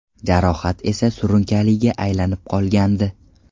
Jarohat esa surunkaliga aylanib qolgandi.